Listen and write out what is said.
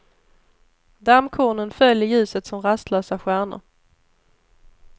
Dammkornen föll i ljuset som rastlösa stjärnor.